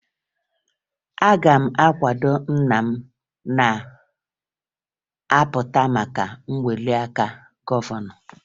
Aga m akwado nna m na-apụta maka ntụliaka gọvanọ